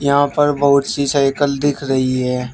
यहां पर बहुत सी साइकल दिख रही है।